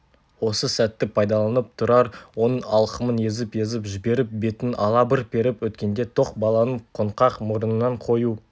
осы сәтті пайдаланып тұрар оның алқымын езіп-езіп жіберіп бетін ала бір періп өткенде тоқ баланын қоңқақ мұрнынан қою